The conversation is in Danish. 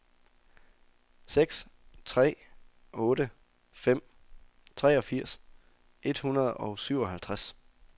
seks tre otte fem treogfirs et hundrede og syvoghalvtreds